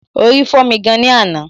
Orí fọ́mi gan ni àná